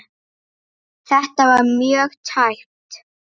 Þetta var mjög tæpt.